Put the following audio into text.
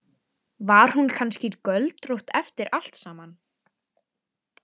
Var hún kannski göldrótt eftir allt saman?